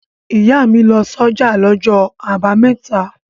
Ìyá mi lọ sọ́jà lọ́jọ́ àbámẹ́ta.